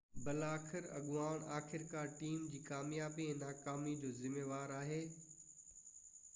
بلاآخر اڳواڻ آخرڪار ٽيم جي ڪاميابي ۽ ناڪامي جو ذميوار آهي